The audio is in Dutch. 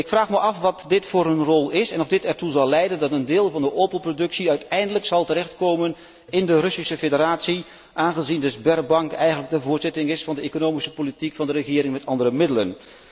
Ik vraag me af wat dit voor een rol is en of deze ertoe zal leiden dat een deel van de Opel productie uiteindelijk terecht zal komen in de Russische Federatie, aangezien de Sberbank eigenlijk een voortzetting is van de economische politiek van de regering met andere middelen.